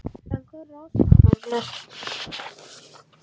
En hverjar eru ástæðurnar?